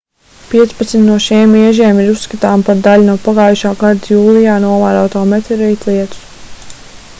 piecpadsmit no šiem iežiem ir uzskatāmi par daļu no pagājušā gadā jūlijā novērotā meteorītu lietus